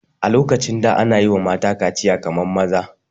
A lokacin da ana yiwa mata kaciya kamar maza